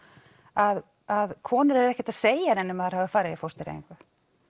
að konur eru ekkert að segja neinum að þær hafi farið í fóstureyðingu